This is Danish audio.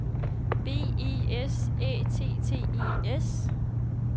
B E S Æ T T E S